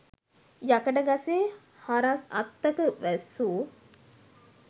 යකඩ ගසේ හරස් අත්තක වැසූ